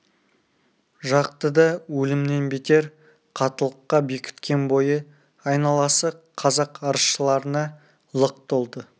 жақты да өлімнен бетер қаттылыққа бекіткен бойы айналасы қазақ арызшыларына лық толды